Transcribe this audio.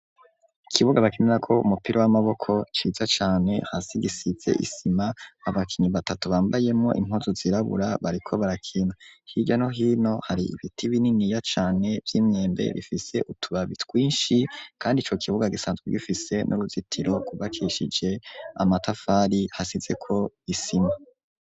Ikibuga bakinirako umupira w'amaboko ciza cane hasi gisize isima, abakinyi batatu bambayemwo impuzu zirabura bariko barakina hirya no hino hari ibiti bininiya cane vy'imyembe bifise utubabi twinshi kandi ico kibuga gisanzwe gifise n'uruzitiro rwubakishije amatafari hasizeko isima.